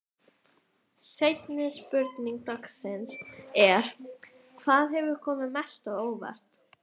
Seinni spurning dagsins er: Hvað hefur komið mest á óvart?